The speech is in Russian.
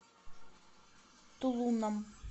тулуном